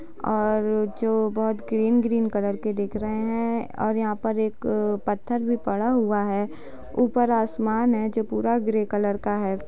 और जो बहोत ग्रीन -ग्रीन कलर के दिख रहे हैं और यहां पर एक पत्थर भी पड़ा हुआ है। ऊपर आसमान है जो पूरा ग्रे कलर का है।